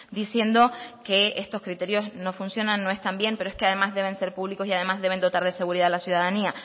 diciendo que estos criterios no funcionan no están bien pero es que además deben ser públicos y además deben de dotar de seguridad a la ciudadanía